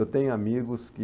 Eu tenho amigos que...